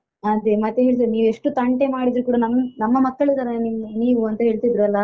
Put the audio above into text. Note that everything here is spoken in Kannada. ಅದೇ ಮತ್ತೆ ಹೇಳಿದ್ರು ನೀವೆಷ್ಟು ತಂಟೆ ಮಾಡಿದ್ರೂ ಕೂಡ ನಮ್ ನಮ್ಮ ಮಕ್ಕಳತರ ನೀವು ಅಂತ ಹೇಳ್ತಿದ್ರು ಅಲಾ.